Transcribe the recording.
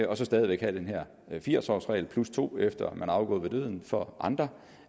og stadig væk have den her firs årsregel og to år efter man er afgået ved døden for andre